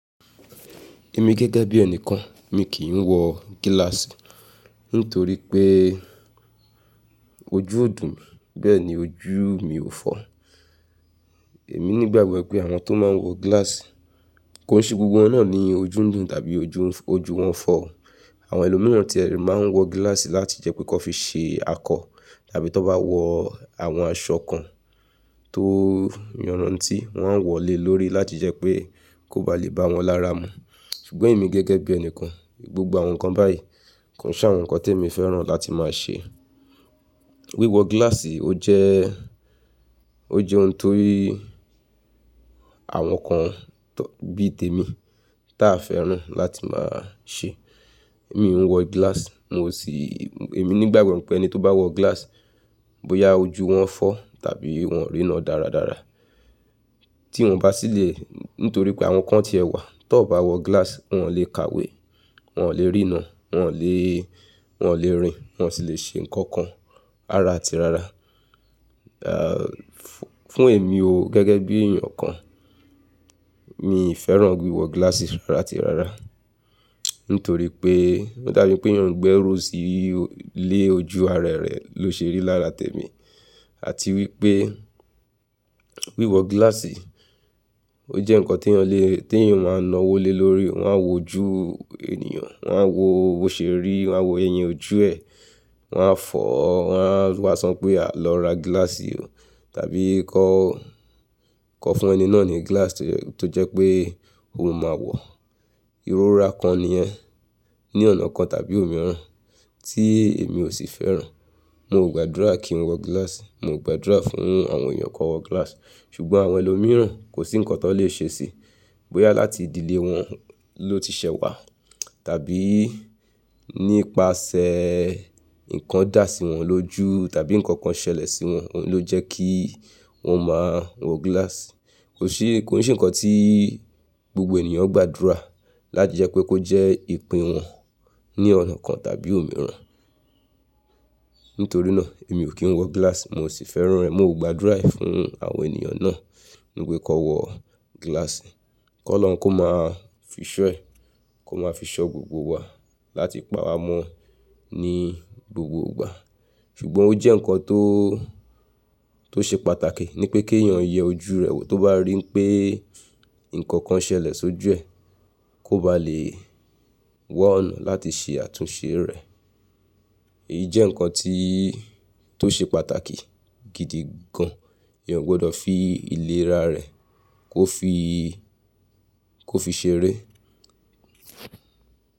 Èmi gẹ́gẹ́ bí ẹnìkan mi kì í wọ gíláàsì nítorí pé ojú o dùn ún, bẹ́ẹ̀ ni ojú mi ò fọ. Èmi nígbàgbọ́ wipé àwọn tó máa ń wọ gíláàsì, kò n se gbogbo wọn náà ni ojú ń dùn tàbí ojú wọn fọ. Àwọn ẹlòmíràn tí ẹ rí máa ń wọ gíláàsì láti jẹ́ pé kọ́ n fi ṣe akọ tàbí tó n bá wọ àwọn aṣọ kan tó yanrantí wọ́n wọ̀ lé lórí láti jẹ́ pé kó ba lè bá wọn lára mu. Ṣùgbọ́n èmi gẹ́gẹ́ bí ẹnìkan, gbogbo àwọn nǹkan báyìí kò n se àwọn nǹkan tí èmi fẹ́ràn láti máa ṣe. Wíwọ gíláàsì ó jẹ́, ó jẹ́ ohun tó rí àwọn kan bí i tèmi táa fẹ́ràn láti máa ṣe. Mi n wọ gíláàsì, mo sì, èmi nígbàgbọ́ pé ẹni tó bá wọ gíláàsì bóyá ojú wọn fọ tàbí wọ́n rí iná dáradára, tí wọ́n bá sílẹ̀ nítorí pé àwọn kan tí ẹ wà tó n bá wọ gíláàsì wọn ò lè ka ìwé, wọn ò lè rí iná, wọn ò lè, wọn ò lè rin, wọn sì lè ṣe nǹkan kan rará ati rara. Fún èmi o gẹ́gẹ́ bí èeyan kan mi i fẹ́ràn wíwọ gíláàsì rárá ati rara. Nítorí pé ó dà bí pé eeyan gbẹ́rú sí le ojú arẹ rẹ ló ṣe rí lára tèmi àti wípé wíwọ gíláàsì ó jẹ́ nǹkan tí eeyan lè, tí èèyàn máa ń na wò lé lórí o. Wọn á wo ojú ènìyàn, wọ́n á wo bó ṣe rí, wọ́n á wo ẹyin ojú ẹ, wọ́n á fọ̀ ọ́, wọ́n á wa sọ pé "lọ́ ra gíláàsì o" tàbí "kọ́, kọ n fún ẹni náà ni gíláàsì tó jẹ́ pé òun máa wọ̀ ọ́". Irọra kan ni yẹ́ ní ọ̀nà kan tàbí òmíràn tí èmi ò sì fẹ́ràn. Mo ò gbàdúrà kí n wọ gíláàsì, mo ò gbàdúrà fún àwọn èèyàn kó n wọ gíláàsì. Ṣùgbọ́n àwọn ẹlòmíràn kò sí nǹkan tó n lè ṣe sí i bóyá láti ìdílé wọn ló ti ṣẹ́ wà tàbí nípasẹ̀ nǹkan dà sí wọn lójú tàbí nǹkan kan ṣẹlẹ̀ sí wọn ló jẹ́ kí wọ́n máa wọ gíláàsì. Kò se, kò n se nǹkan tí gbogbo ènìyàn gbàdúrà láti jẹ́ pé kó jẹ́ ìpín eeyan ní ọ̀nà kan tàbí òmíràn. Nítorí náà èmi ò kí ń wọ gíláàsì, mo sì fẹ́ràn rẹ̀. Mo ò gbàdúrà fún àwọn ènìyàn náà wípé kó n wọ gíláàsì, kó Olorun kó máa fi ṣọ́ ẹ, kó máa fi ṣọ́ gbogbo wa láti pa wa mọ́ ní gbogbo ìgbà. Ṣùgbọ́n ó jẹ́ nǹkan tó, tó ṣe pàtàkì ni pé kí èèyàn yẹ ojú rẹ̀ wò tó bá rí pé nǹkan kan ṣẹlẹ̀ sójú ẹ̀ kó ba lè wa ọ̀nà láti ṣe àtúnṣe rẹ̀. Èyí jẹ́ nǹkan tí, tó ṣe pàtàkì gidi gan. Èèyàn o gbọdọ̀ fi ìlera rẹ̀ kó fi, kó fi ṣeré.